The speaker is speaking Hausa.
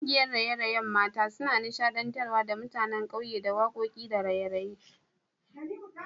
Kungiyar raye-rayen mata suna nishadantar da mutanen ƙauye da wakoki da raye-raye